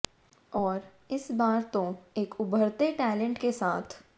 और इस बार तो एक उभरते टैलेंट के साथ